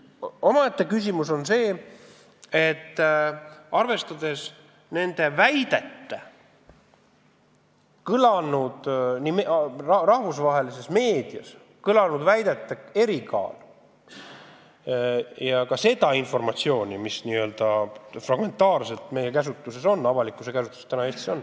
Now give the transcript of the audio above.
Omaette küsimus on see, et tuleb arvestada nii rahvusvahelises meedias kõlanud väidete kaalukust kui ka informatsiooni, mis n-ö fragmentaarselt Eesti avalikkuse käsutuses praegu on.